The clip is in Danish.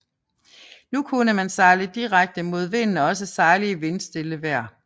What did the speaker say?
Nu kunne man sejle direkte mod vinden og også sejle i vindstille vejr